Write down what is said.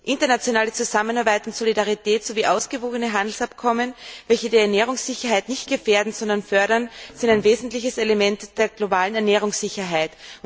Internationale Zusammenarbeit und Solidarität sowie ausgewogene Handelsabkommen, welche die Ernährungssicherheit nicht gefährden, sondern fördern, sind ein wesentliches Element der globalen Ernährungssicherheit.